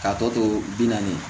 K'a tɔ to bi naani ye